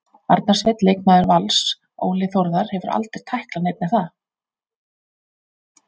Arnar Sveinn leikmaður Vals Óli Þórðar hefur aldrei tæklað neinn er það?